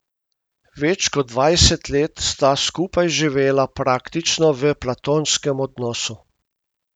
Več kot dvajset let sta skupaj živela praktično v platonskem odnosu.